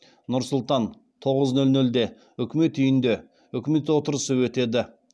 нұр сұлтан тоғыз нөл нөлде үкімет үйінде үкімет отырысы өтеді